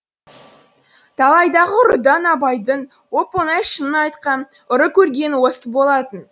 талайдағы ұрыдан абайдың оп оңай шынын айтқан ұры көргені осы болатын